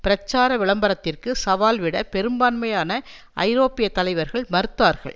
பிரச்சார விளம்பரத்திற்கு சவால் விட பெரும்பான்மையான ஐரோப்பிய தலைவர்கள் மறுத்தார்கள்